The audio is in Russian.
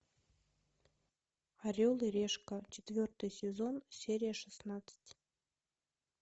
орел и решка четвертый сезон серия шестнадцать